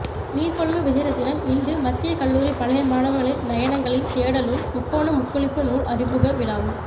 நீர்கொழும்பு விஜயரெத்தினம் இந்து மத்திய கல்லூரி பழைய மாணவர்களின் நயனங்களின் தேடலும் முக்கோண முக்குளிப்பு நூல் அறிமுக விழாவும்